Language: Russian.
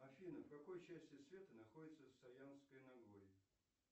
афина в какой части света находится саянское нагорье